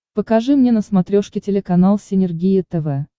покажи мне на смотрешке телеканал синергия тв